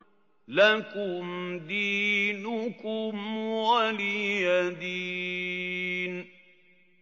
لَكُمْ دِينُكُمْ وَلِيَ دِينِ